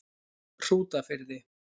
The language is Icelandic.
Hrútafirði